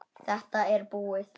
Þetta er búið!